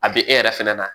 A bɛ e yɛrɛ fɛnɛ na